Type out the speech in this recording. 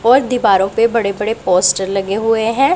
और दीवारों पे बड़े बड़े पोस्टर लगे हुए हैं।